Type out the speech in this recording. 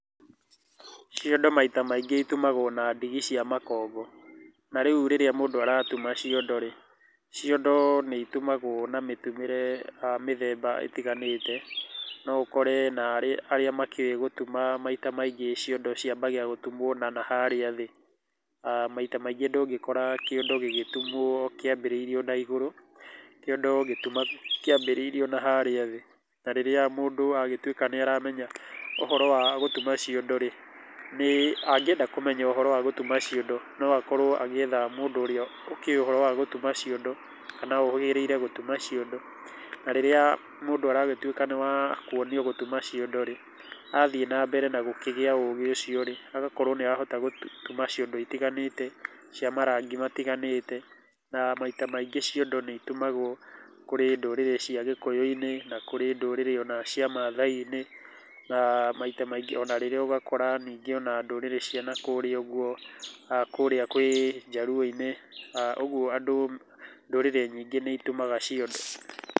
Ciondo maita maingĩ itumagwo na ndigi cia makongo. Na rĩu rĩrĩa mũndũ aratuma ciondo rĩ, ciondo nĩ itumagũo na mĩtumĩre mĩthemba ítiganĩte. No ũkore narĩ arĩa makĩũĩ gũtuma maita maingĩ ciondo ciambagia gũtumwo na harĩa thĩ. Maita maingĩ ndũngĩkora kiondo gĩgĩtumwo kĩambĩrĩirio naigũrũ, kĩondo gĩtumagwo kĩambĩrĩirio na harĩa thĩ. Na rĩrĩa mũndũ agĩtuĩka nĩaramenya ũhoro wa gũtuma ciondo rĩ, nĩ angĩenda kũmenya ũhoro wa gũtuma ciondo no akorũo agĩetha mũndũ ũrĩa ũkĩũĩ ũhoro wa gũtuma kana ũhĩgĩrĩire gũtuma ciondo. Na rĩrĩa mũndũ aragĩtuĩka nĩ wa kuonio gũtuma ciondo rĩ, athiĩ na mbere na gũkĩgĩa ũgĩ ũcio rĩ, agakorũo nĩ arahota gũtuma ciondo itiganĩte, cia marangi matiganĩte. Na maita maingĩ ciondo nĩ citumagwo kũrĩ ndũrĩrĩ cia gĩkũyũ-inĩ na kũri ndũrĩrĩ ona cia maathai-inĩ. Na maita maingĩ onarĩrĩa ũgakora ningĩ ona ndũrĩrĩ cia nakũrĩa ũguo kũrĩa kwĩ njaruo-inĩ. Ũguo ndũrĩrĩ nyingĩ nĩ itumaga ciondo.